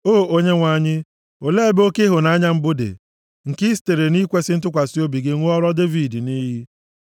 O Onyenwe anyị, olee ebe oke ịhụnanya mbụ dị, nke i sitere nʼikwesị ntụkwasị obi gị ṅụọrọ Devid nʼiyi?